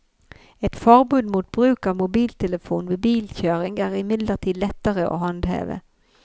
Et forbud mot bruk av mobiltelefon ved bilkjøring er imidlertid lettere å håndheve.